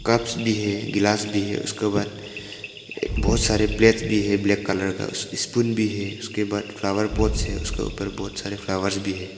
Cups भी है गिलास भी है उसके बाद एक बहोत सारे प्लेट भी है ब्लैक कलर का स्पून भी है उसके बाद फ्लावर पॉट से उसके ऊपर बहोत सारे फ्लावर्स भी है।